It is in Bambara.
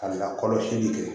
Ka lakɔlɔsili kɛ